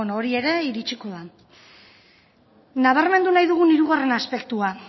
bueno hori ere iritsiko da nabarmen nahi dugu hirugarren aspektua